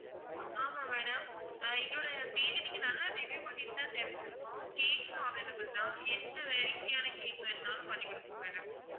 ஆமா madam எங்களோட page அ நீங்க நல்லா review பண்ணியிருந்தா தெரிஞ்சுருக்கும் cake உம் available தான் என்ன variety யான cake வேணும்னாலும் பண்ணி கொடுப்போம் madam